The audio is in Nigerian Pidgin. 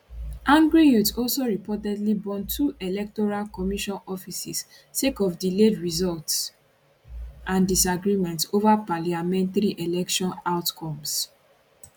angry youths also reportedly burn two electoral commission offices sake of delayed results and disagreements ova parliamentary election outcomes